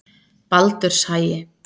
Baldurshagi